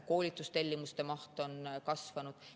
Koolitustellimuste maht on kasvanud.